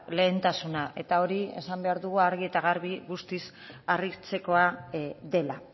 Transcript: lehentasuna eta hori esan behar dugu argi eta garbi guztiz harritzekoa dela